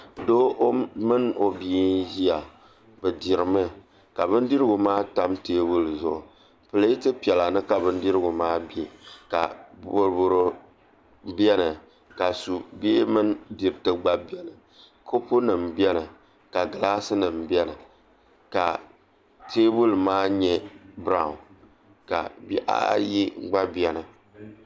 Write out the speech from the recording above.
Doo mini o bia n ʒiya bi dirimi ka bindirigu maa tam teebuli zuɣu pileet piɛla ni ka bindirigu maa bɛ ka boro boro biɛni ka subihi mini diriti gba biɛni kopu nim biɛni ka gilaas nim biɛni ka teebuli maa nyɛ braawn ka bihi ayi gba biɛni